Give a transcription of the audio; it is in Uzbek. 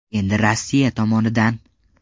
Endi Rossiya tomonidan.